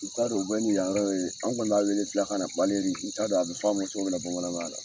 U t'a dɔn u bɛ ni yan yɔrɔ wele , an kɔni b'a wele filakan na , n t'a dɔn a bɛ fɔ a ma cogo min na bamanankan la.